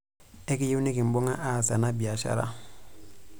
Ekiiyieu nikimbung'a aas ena biashara.